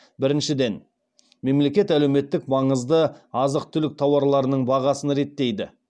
біріншіден мемлекет әлеуметтік маңызды азық түлік тауарларының бағасын реттейді